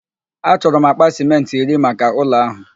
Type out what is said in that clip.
Achọrọ m akpa sịmentị iri maka ụlọ ahụ.